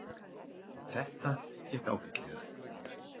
Þetta gekk ágætlega.